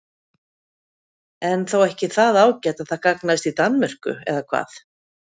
En þó ekki það ágæt að það gagnaðist í Danmörku eða hvað?